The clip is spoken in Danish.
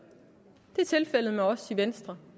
det er tilfældet med os i venstre